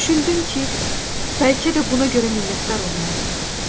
Düşündüm ki, bəlkə də buna görə minnətdar olmalıyam.